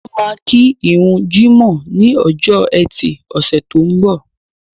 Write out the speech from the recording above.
Wọ́n máa kí ìrun jímọ̀ ní ọjọ́ ẹtì ọ̀sẹ̀ tó ń bọ̀